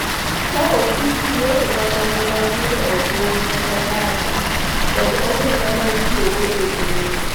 ka opim gi yore mamoko mag yudo omwom kaka data kod omenda ma itiyogo e mbui.